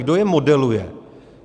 Kdo je modeluje?